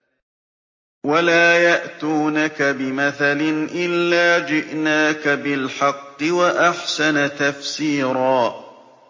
وَلَا يَأْتُونَكَ بِمَثَلٍ إِلَّا جِئْنَاكَ بِالْحَقِّ وَأَحْسَنَ تَفْسِيرًا